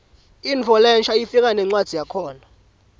intfo lensha ifika nencwadzi yakhona